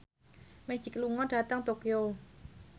Magic lunga dhateng Tokyo